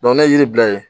ne ye yiri bila yen